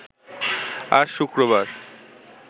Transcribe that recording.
আজ শুক্রবার